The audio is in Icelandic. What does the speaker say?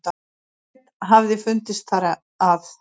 Ekkert hafi fundist þar að